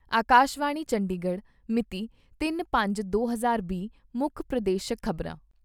ਆਕਾਸ਼ਵਾਣੀ ਚੰਡੀਗੜ੍ਹ ਮਿਤੀ ਤਿੰਨ ਪੰਜ ਦੋ ਹਜ਼ਾਰ ਵੀਹ ਮੁੱਖ ਪ੍ਰਦੇਸ਼ਕ ਖ਼ਬਰਾਂ